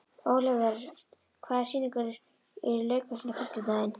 Olivert, hvaða sýningar eru í leikhúsinu á fimmtudaginn?